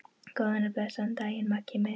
Góðan og blessaðan daginn, Maggi minn.